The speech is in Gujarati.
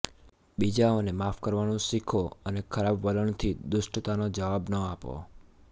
બીજાઓને માફ કરવાનું શીખો અને ખરાબ વલણથી દુષ્ટતાનો જવાબ ન આપો